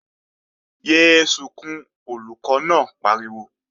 Yé é sunkún, Olùkọ́ náà pariwo!